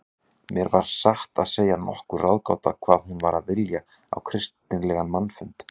Mér var satt að segja nokkur ráðgáta hvað hún var að vilja á kristilegan mannfund.